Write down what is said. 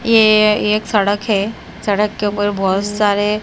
ये एक सड़क है सड़क के ऊपर बहुत सारे--